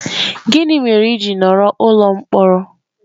Gịnị mere i ji nọrọ n'ụlọ mkpọrọ?